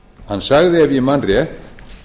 hann sagði ef ég man rétt